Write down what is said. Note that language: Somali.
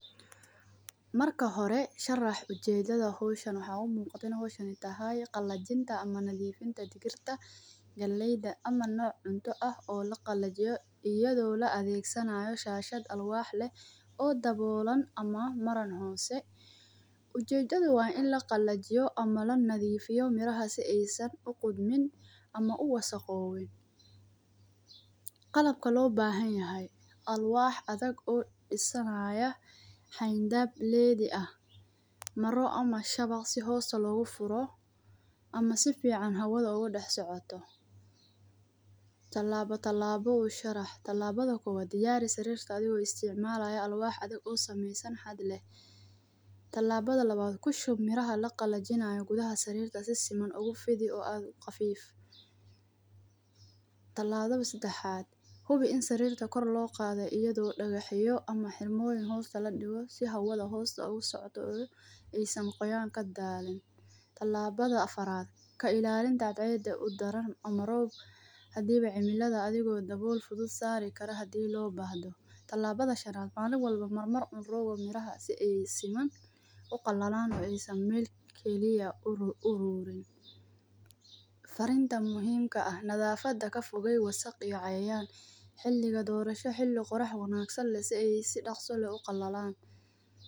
Marka hore sharrax ujeedada hawshan ,waxaa u muuqata in hawshani tahay qallajinta ama nadiifinta digirta ,galleyda ama nooc cunta ah oo la qallajiyo ,iyadoo la adeegsanaayo shashad alwaax leh oo daboolan ama maran hoose. Ujeedadu waa in la qallajiyo ama la nadiifiyo miraha si aysan u qudhmin ama u wasakhoowin . Qalabka loo baahan yahay; Alwaax adag oo dhisanaaya xeendaab leedi ah . Maro ama shabaq si hosta loogu furo ama si fiican hawada uga dhax socoto . Tallaabo tallaabo u sharax ; Tallaabada kowaad ;Diyaari sariirta adigoo isticmalaya alwaax adag oo sameysan xad leh. Tallaabda labaad ;Ku shub miraha la qallajinaayo gudaha sariirta si siman u fidi oo u qafiif. Tallaabada seddaxaad ;Hubi in sariirta kor loo qaade iyadoo dhagaxyo ama xirmooyin hoosta la dhigo si hawada hoosta ugu socoto oo aysan qoyaan ka daadan . Tallaabada afaraad; Ka ilaalinta cadceeda u daran ama roob hadiiba cimilada adigoo dawool fudud saari kara hadii loo baahdo . Tallabada shanaad; Maalin walbo marmar un kugur miraha si ay siman u qallalaan oo meel kaliya u uruurin. Friinta muhiimka ah ;Nadaafada ,ka fogee wasaq iyo cayayaan xilliga doorasho ,xilli qorrax wanaagsan leh si ay si dakhso leh u qallalaan.